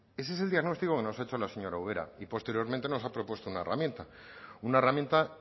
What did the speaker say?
ese es el diagnóstico que nos ha hecho la señora ubera y posteriormente nos ha propuesto una herramienta una herramienta